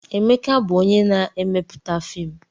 Emeka bụ onye na-emepụta fiimu.